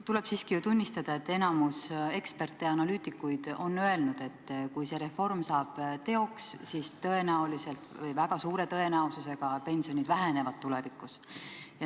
Tuleb siiski tunnistada, et enamik analüütikuid ja muid eksperte on öelnud, et kui see reform saab teoks, siis väga suure tõenäosusega pensionid tulevikus vähenevad.